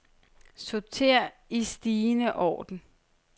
Sorter i stigende orden.